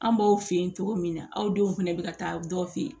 An b'aw fe yen cogo min na aw denw fɛnɛ be ka taa dɔ fɛ yen